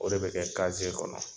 O de bɛ kɛ kaze kɔnɔ